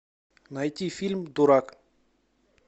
найти фильм дурак